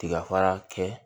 Tiga fara kɛ